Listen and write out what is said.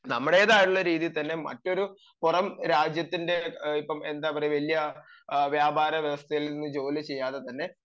നമ്മുടേതായിട്ടുള രീതിയിൽ തന്നെ മറ്റൊരു പുറം രാജ്യത്തിൻറെ ഇപ്പം എന്താ പറയാ വലിയ വ്യാപാര വ്യവസ്ഥയിൽ നിന്ന് ജോലി ചെയ്യാതെ തന്നെ